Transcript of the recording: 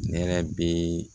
Ne yɛrɛ bɛ